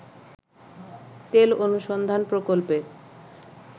তেল অনুসন্ধান প্রকল্পের